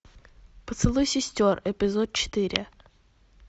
поцелуй сестер эпизод четыре